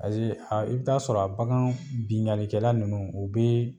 Ayi i bi taaa sɔrɔ a bakan binkannikɛla nunnu u be